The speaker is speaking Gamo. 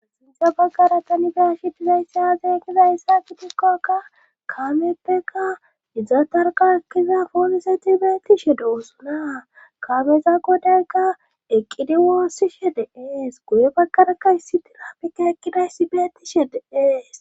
sinthe baggara tani be'ashe dizayssa zeegizayssa gitikkoka kaameppeka iza tarqa ekkiza pooliseti beettishe doosunaa kameza godayka eqqidi woossishe deees guye baggarakka issi tirapika eqqidayssi beettishe de ees